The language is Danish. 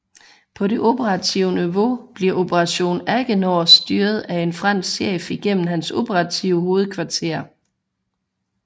På det operative niveau bliver Operation AGENOR styret af en fransk chef igennem hans operative hovedkvarter